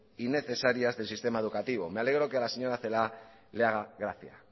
y necesarias del sistema educativa me alegro que a la señora celaá le haga gracia